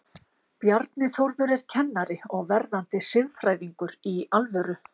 Bjarni Þórður er kennari og verðandi siðfræðingur, í alvöru?